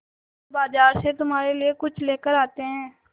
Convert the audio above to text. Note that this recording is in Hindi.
चलो बाज़ार से तुम्हारे लिए कुछ लेकर आते हैं